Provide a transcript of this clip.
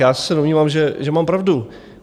Já se domnívám, že mám pravdu.